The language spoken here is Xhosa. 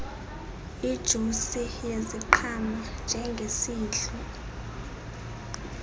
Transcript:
ijusi yeziqhamo njengesidlo